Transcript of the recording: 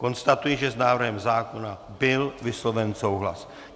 Konstatuji, že s návrhem zákona byl vysloven souhlas.